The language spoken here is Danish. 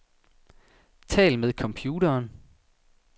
Tal med computeren.